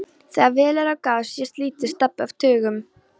Þegar vel er að gáð sést lítill stabbi af tuggum.